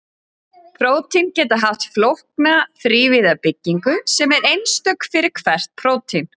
Prótín geta haft flókna þrívíða byggingu sem er einstök fyrir hvert prótín.